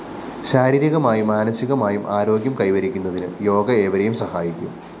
ശാരീരികമായും മാനസികമായും ആരോഗ്യം കൈവരിക്കുന്നതിന് യോഗ ഏവരെയും സഹായിക്കും